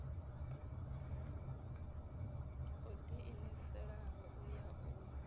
o ḓiimiselaho u ya u